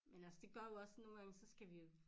Men altså det gør jo også nogle gange så skal vi jo